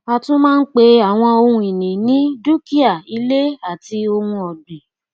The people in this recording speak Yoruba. a tún máa ń pe àwọn ohun ìní ní dúkìá ilé àti ohun ọgbìn